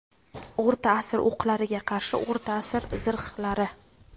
O‘rta asr o‘qlariga qarshi o‘rta asr zirhlari.